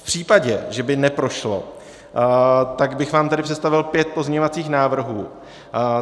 V případě, že by neprošlo, tak bych vám tedy představil pět pozměňovacích návrhů.